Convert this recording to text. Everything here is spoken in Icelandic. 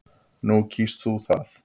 Nú kýst þú að.